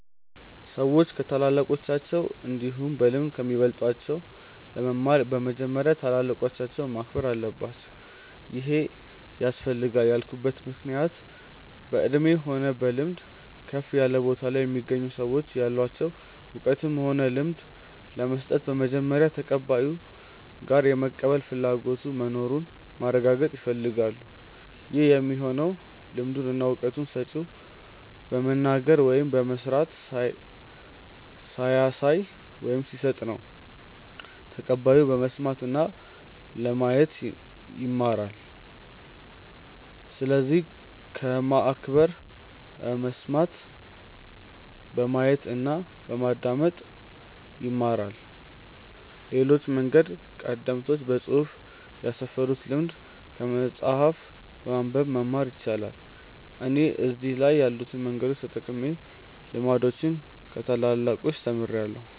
ሰዎች ከታላላቆቻቸው እንዲሁም በልምድ ከሚበልጧቸው ለመማር በመጀመሪያ ታላላቆቻቸውን ማክበር አለባቸው ይሄ ያስፈልጋል ያልኩበት ምክንያት በእድሜ ሆነ በልምድ ከፍ ያለ ቦታ ላይ የሚገኙ ሰዎች ያላቸውን እውቀትም ሆነ ልምድ ለመስጠት በመጀመሪያ ተቀባዩ ጋር የመቀበል ፍላጎቱ መኑሩን ማረጋገጥ ይፈልጋሉ ይህ የሚሆነው ልምዱን እና እውቀቱን ሰጪው በመናገር ወይም በመስራት ሲያሳይ ወይም ሲሰጥ ነው ተቀባዩ በመስማት እና ለማየት ይማራል። ስለዚህ በማክበር በመስማት፣ በማየት እና በማዳመጥ ይማራሉ። ሌላው መንገድ ቀደምቶች በፅሁፍ ያስፈሩትን ልምድ ከመጽሐፍ በማንበብ መማር ይቻላል። እኔ እነዚህ ከላይ ያሉትን መንገዶች ተጠቅሜ ልምዶችን ከታላላቆቻች ተምርያለው።